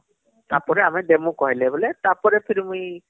ତାପରେ ଆମେ ଦେମୁଁ କହିଲେ ବୋଲେତାପରେ ଫିର ମୁଇଁ